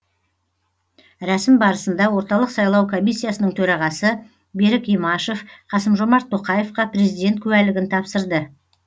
рәсім барысында орталық сайлау комиссиясының төрағасы берік имашев қасым жомарт тоқаевқа президент куәлігін тапсырды